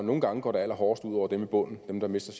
nogle gange går det allerhårdest ud over dem i bunden dem der mister